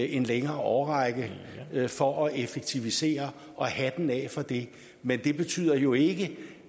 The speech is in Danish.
en længere årrække for at effektivisere og hatten af for det men det betyder jo ikke